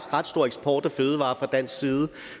stor eksport af fødevarer fra dansk side